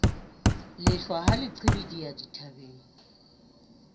lehlwa ha le qhibidiha dithabeng